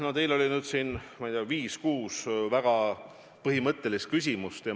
No teil oli siin, ma ei tea, viis või kuus väga põhimõttelist küsimust.